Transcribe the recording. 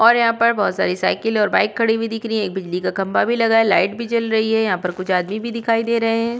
और यहाँ पर बहुत सारी साइकलें और बाइक खड़ी हुई दिख रही है। एक बिजली का खंभा भी लगा है। लाइट भी जल रही है। यहाँ पर कुछ आदमी भी दिखाई दे रहे हैं।